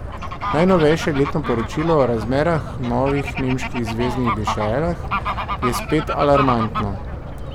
Najnovejše letno poročilo o razmerah novih nemških zveznih deželah je spet alarmantno.